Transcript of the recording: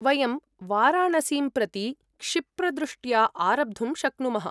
वयं वाराणसीं प्रति क्षिप्रदृष्ट्या आरब्धुं शक्नुमः।